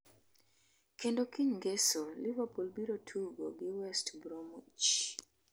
kendo kiny ngeso liverpool biro tugo gi west bromwich.